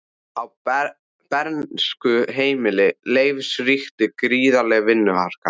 Á bernskuheimili Leifs ríkti gríðarleg vinnuharka.